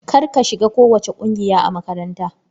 Kar ka shiga kowacce ƙungiya a makaranta!